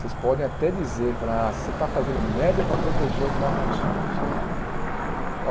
vocês podem até dizer, ah você está fazendo média para proteger os marronzinhos, né?